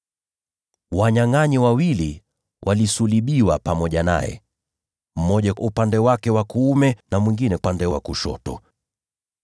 Wanyangʼanyi wawili walisulubiwa pamoja naye, mmoja upande wake wa kuume na mwingine upande wa kushoto.